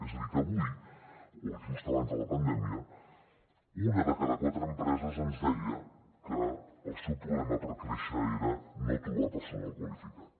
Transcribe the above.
és a dir que avui o just abans de la pandèmia una de cada quatre empreses ens deia que el seu problema per créixer era no trobar personal qualificat